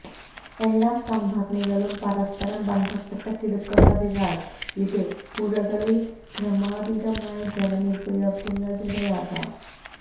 എല്ലാം സംഭരണികളും പരസ്പരം ബന്ധപ്പെട്ടു കിടക്കുന്നതിനാല് ഇത് പുഴകളില് ക്രമാതീതമായി ജലനിരപ്പ് ഉയരുന്നതിനിടയാക്കും